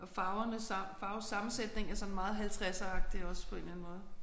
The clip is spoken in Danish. Og farverne sammen farvesammensætningen er sådan meget halvtredseragtig også på en eller anden måde